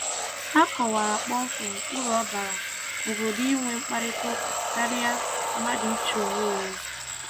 Ha kọwara kpọmkwem uru ọ bara obodo inwe mkparịtaụka karịa mmadụ ichi onwe ya eze.